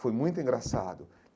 Foi muito engraçado.